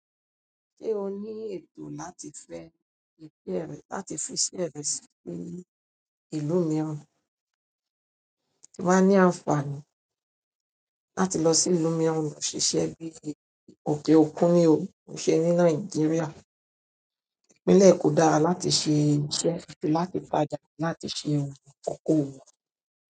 Ṣé o ní ètò láti fẹ́ iṣẹ́ rẹ sí ìlú mìíràn, ti ba ní àǹfààní láti lọ sí ìlú mìíràn lọ ṣiṣẹ́ bí i òkè òkun ní ò ki í ṣe ní Nàìjíríà? Ìpínlẹ̀ Eko dára láti ṣe iṣẹ́ àti láti tajà, láti ṣe okoòwò.